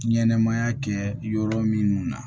Ɲɛnɛmaya kɛ yɔrɔ minnu na